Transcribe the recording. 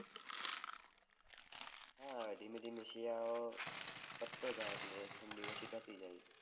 હા ઘીમે ઘીમે શિયાળો પટતો જાય એટલે ઠંડી ઓછી થતી જાય